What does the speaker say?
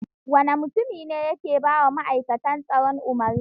Wane mutumi ne wancan yake ba wa ma'aikatan tsaro umarni?